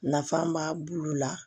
Nafa b'a bulu la